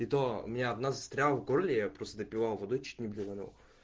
и то у меня одна застряла в горле я просто допивал водой чуть не блеванул